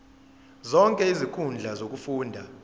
zonke izinkundla zokufunda